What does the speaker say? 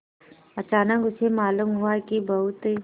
अचानक उसे मालूम हुआ कि बहुत